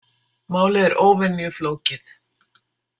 Málið er óvenju flókið.